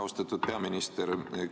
Austatud peaminister!